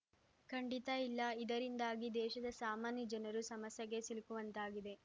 ಖಂಡಿತ ಇಲ್ಲ ಇದರಿಂದಾಗಿ ದೇಶದ ಸಾಮಾನ್ಯ ಜನರು ಸಮಸ್ಯೆಗೆ ಸಿಲುಕುವಂತಾಗಿದೆ